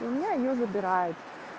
у меня её забирают